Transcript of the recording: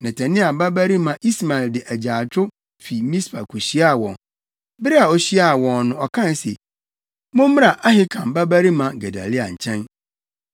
Netania babarima Ismael de agyaadwo fi Mispa kohyiaa wɔn. Bere a ohyiaa wɔn no ɔkae se, “Mommra Ahikam babarima Gedalia nkyɛn.”